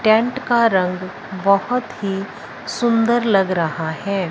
Tent का रंग बहोत ही सुंदर लग रहा है।